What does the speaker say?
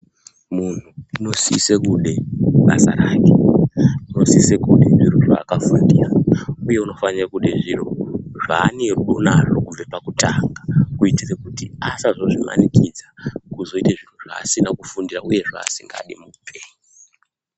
Muntu unosise kude basa rake unosise kude zviro zvaakafundira, uye unofanire kude zviro zvanerudo nazvo kubve pakutanga. Kuitira kuti asazozvimanikidza ozoite zviro zvasina kufundira, uye zvasingadi muupenyu.